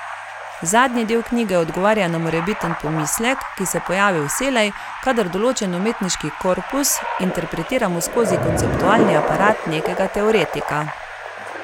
Zadnji del knjige odgovarja na morebiten pomislek, ki se pojavi vselej, kadar določen umetniški korpus interpretiramo skozi konceptualni aparat nekega teoretika.